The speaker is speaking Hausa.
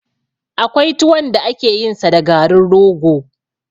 Akwai tuwon da ake yin sa da garin rogo